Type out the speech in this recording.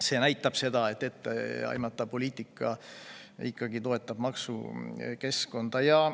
See näitab seda, et etteaimatav poliitika ikkagi toetab maksukeskkonda.